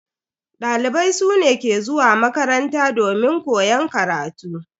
Dalibai su ne ke zuwa makaranta domin koyan karatu.